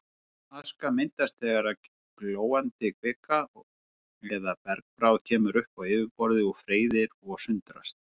Gosaska myndast þegar glóandi kvika eða bergbráð kemur upp á yfirborðið og freyðir og sundrast.